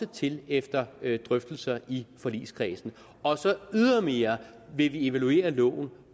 til efter drøftelser i forligskredsen ydermere vil vi evaluere loven